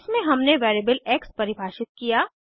इसमें हमने variable X परिभाषित किया